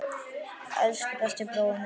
Elsku besti brói minn.